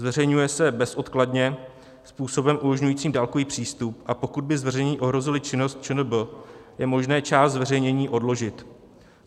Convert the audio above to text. Zveřejňuje se bezodkladně způsobem umožňujícím dálkový přístup, a pokud by zveřejnění ohrozila činnost ČNB, je možné část zveřejnění odložit.